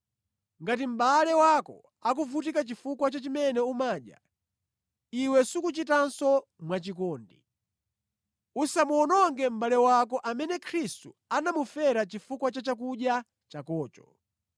Ngati mʼbale wako akuvutika chifukwa cha chimene umadya, iwe sukuchitanso mwachikondi. Usamuwononge mʼbale wako amene Khristu anamufera chifukwa cha chakudya chakocho.